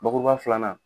Bakuruba filanan